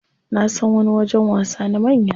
Nasan wani wajen wasa na manya.